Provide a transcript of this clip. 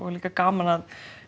líka gaman að